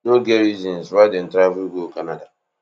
no get reasons why dem travel go canada